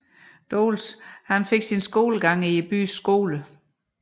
Doles fik sin skolegang i byens skoler